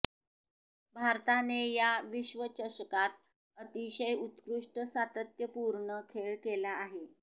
भारताने या विश्वचषकात अतिशय उत्कृष्ट सातत्यपूर्ण खेळ केला आहे